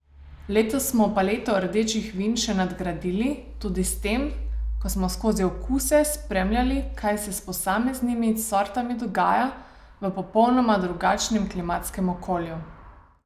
Letos smo paleto rdečih vin še nadgradili tudi s tem, ko smo skozi okuse spremljali, kaj se s posameznimi sortami dogaja v popolnoma drugačnem klimatskem okolju.